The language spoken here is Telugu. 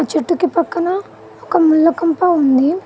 చెట్టుకి పక్కన ఒక ముళ్ళకంప ఉంది.